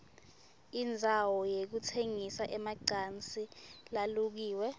indzawo yekutsengisa emacansi lalukiwe